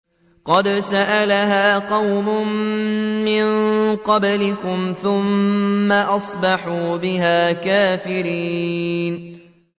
قَدْ سَأَلَهَا قَوْمٌ مِّن قَبْلِكُمْ ثُمَّ أَصْبَحُوا بِهَا كَافِرِينَ